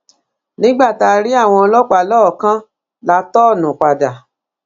nígbà tá a rí àwọn ọlọpàá lọọọkán la tọọnù padà